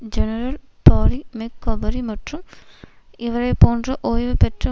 general Barry McCaffrey மற்றும் இவரை போன்ற ஓய்வுபெற்ற